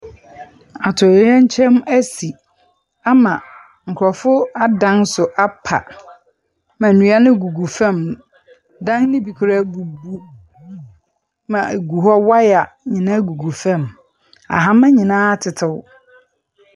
Atoyerɛnkyɛm esi ama nkorɔfo adan so apa, na ndua no gugu fam. Dan no bi koraa abubu ma egu hɔ. Wire nyinaa gugu famu. Ahama nyinaa atetew.